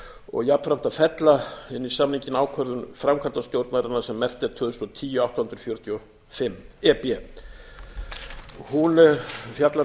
og jafnframt að fella inn í samninginn ákvörðun framkvæmdastjórnarinnar sem merkt er tvö þúsund og tíu átta hundruð fjörutíu og fimm e b hún fjallar um